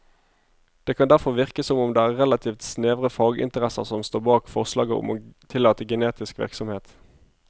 Det kan derfor virke som om det er relativt snevre faginteresser som står bak forslaget om å tillate genetisk virksomhet.